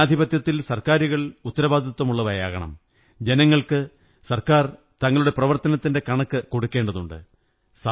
ജനാധിപത്യത്തിൽ സര്ക്കാിരുകൾ ഉത്തരവാദിത്വമുള്ളവയാകണം ജനങ്ങള്ക്ക്െ സര്ക്കാ ർ തങ്ങളുടെ പ്രവര്ത്തരനത്തിന്റെ കണക്ക് കൊടുക്കേണ്ടതുണ്ട്